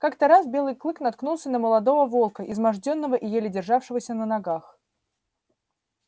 как-то раз белый клык наткнулся на молодого волка измождённого и еле державшегося на ногах